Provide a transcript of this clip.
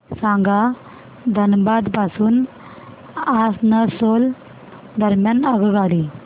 सांगा धनबाद पासून आसनसोल दरम्यान आगगाडी